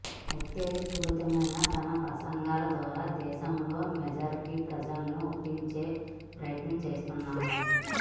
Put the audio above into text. ఉత్తేజపూరితమైన తన ప్రసంగాల ద్వారా దేశంలో మెజారిటీ ప్రజల్ని ఒప్పించే ప్రయత్నం చేస్తున్నారు